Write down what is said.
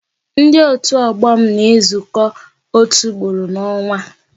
Ndị otu ọgbọ m na-ezuko otu ugboro n'onwa